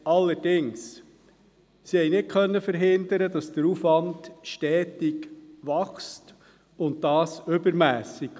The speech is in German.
Allerdings konnten sie nicht verhindern, dass der Aufwand stetig wächst und dies übermässig.